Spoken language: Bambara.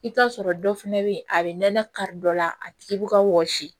I bɛ t'a sɔrɔ dɔ fana bɛ yen a bɛ nɛnɛ kari dɔ la a tigi bɛ ka wɔsi